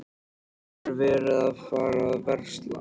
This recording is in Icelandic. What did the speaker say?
Er verið að fara að versla?